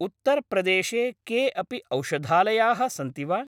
उत्तर् प्रदेशे के अपि औषधालयाः सन्ति वा?